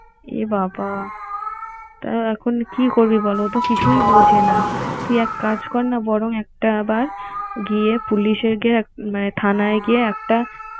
এবাবা তা এখন কি করবি বল ও তো কিছুই বুঝে না। তুই একটা কাজ কর না বরং একটা আবার গিয়ে police এ গিয়ে মানে থানায় গিয়ে একটা